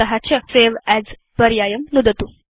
तत चSave अस् पर्यायं नुदतु